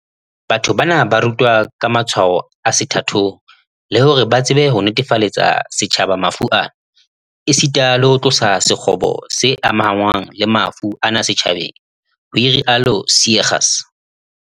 "Batho bana ba rutwa ka matshwao a sethathong, le hore ba tsebe ho netefaletsa setjhaba mafu ana, esita le ho tlosa sekgobo se amahanngwang le mafu ana setjhabeng", ho rialo Seegers